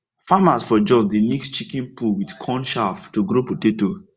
farmers for jos dey mix chicken poo with corn chaff to grow potato